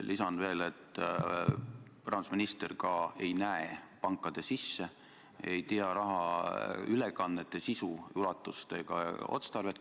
Lisan veel, et rahandusminister ei näe pankade sisse ega tea rahaülekannete sisu, ulatust ja otstarvet.